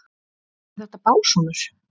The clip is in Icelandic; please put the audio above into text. Eru þetta básúnur?